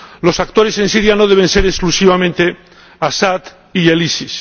Los actores en Siria no deben ser exclusivamente Asad y el EI.